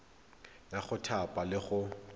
ya go thapa le go